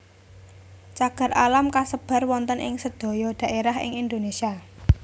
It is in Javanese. Cagar alam kasebar wonten ing sedaya dhaerah ing Indonesia